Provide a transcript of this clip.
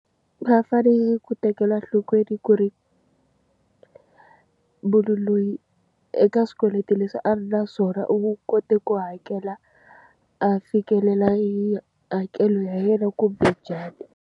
Va fanele ku tekela nhlokweni ku ri munhu loyi eka swikweleti leswi a ri na swona, u kote ku hakela a fikelela hakelo ya yena kumbe njhani.